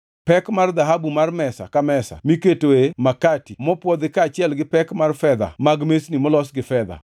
pek mar dhahabu mar mesa ka mesa miketoe makati mopwodhi kaachiel gi pek mar fedha mag mesni molos gi fedha;